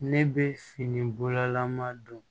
Ne bɛ fini bolaman don